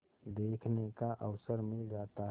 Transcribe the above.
देखने का अवसर मिल जाता है